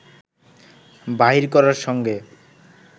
বাহির করার সঙ্গে